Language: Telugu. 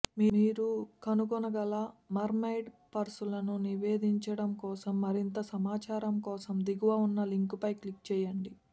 మీరు కనుగొనగల మెర్మైడ్ పర్సులను నివేదించడం కోసం మరింత సమాచారం కోసం దిగువ ఉన్న లింక్లపై క్లిక్ చేయండి